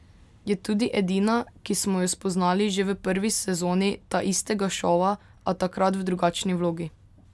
Je tudi edina, ki smo jo spoznali že v prvi sezoni taistega šova, a takrat v drugačni vlogi.